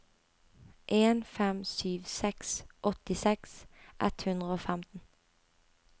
en fem sju seks åttiseks ett hundre og femten